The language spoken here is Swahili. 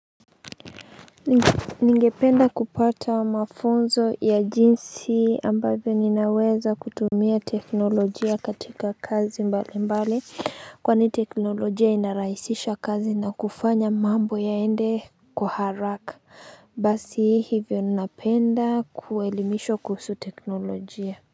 Ningependa kupata mafunzo ya jinsi ambavyo ninaweza kutumia teknolojia katika kazi mbalimbali kwani teknolojia inarahisisha kazi na kufanya mambo yaende kwa haraka Basi hivyo ninapenda kuelimishwa kuhusu teknolojia.